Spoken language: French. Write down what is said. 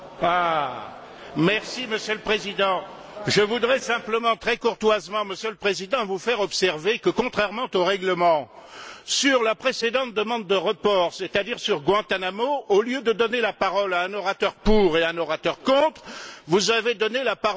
Monsieur le Président, je voudrais simplement très courtoisement vous faire observer que, contrairement au règlement, sur la précédente demande de report, c'est à dire sur Guantánamo, au lieu de donner la parole à un orateur pour et à un orateur contre, vous avez donné la parole à deux orateurs pour